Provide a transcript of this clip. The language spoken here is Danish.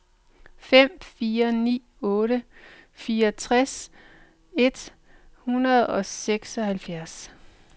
fem fire ni otte fireogtres et hundrede og seksoghalvfjerds